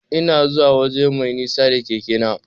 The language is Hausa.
Ina zuwa waje mai nisa da keke na.